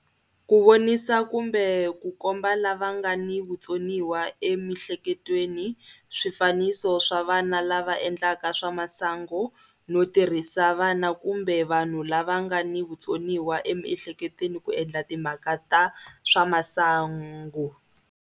Ku vonisa kumbe ku komba lava nga ni vutsoniwa emihleketweni swifaniso swa vana lava endlaka swa masangu no tirhisa vana kumbe vanhu lava nga ni vutsoniwa emihleketweni ku endla timhaka ta swa masangu.